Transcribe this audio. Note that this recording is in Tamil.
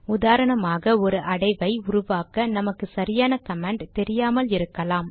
உதாரணமாக ஒரு அடைவை உருவாக்க நமக்கு சரியான கமாண்ட் தெரியாமல் இருக்கலாம்